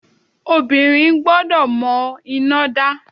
Ọmọbìnrin gbọ́dọ̀ mọ iná dá.